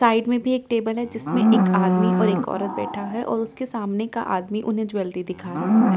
Side में भी एक टेबल है जिसमें एक आदमी और एक औरत बैठा है और उसके सामने का आदमी उन्हें ज्वेलरी दिखा रहा है।